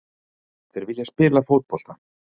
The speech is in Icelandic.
Þeir vilja spila fótbolta.